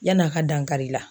Yan'a ka dankari i la.